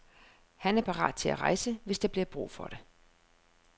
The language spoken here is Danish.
Han er parat til at rejse, hvis der bliver brug for det.